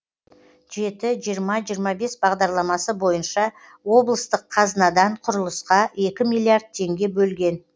жеті жиырма жиырма бес бағдарламасы бойынша облыстық қазынадан құрылысқа екі миллиард теңге бөлген